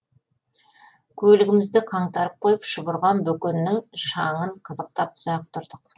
көлігімізді қаңтарып қойып шұбырған бөкеннің шаңын қызықтап ұзақ тұрдық